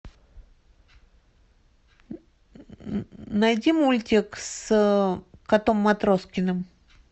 найди мультик с котом матроскиным